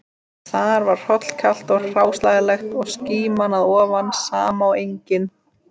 Þar var hrollkalt og hráslagalegt og skíman að ofan sama og engin